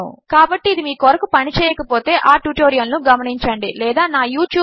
కాబట్టి ఇది మీ కొరకు పని చేయకపోతే ఆ ట్యుటోరియల్ ను గమనించండి లేదా నా యూట్యూబ్